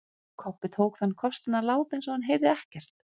Kobbi tók þann kostinn að láta eins og hann heyrði ekkert.